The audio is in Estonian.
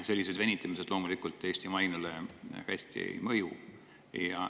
Sellised venitamised Eesti mainele loomulikult hästi ei mõju.